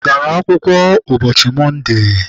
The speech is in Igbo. I gara akwụkwọ ụbọchị Mọnde?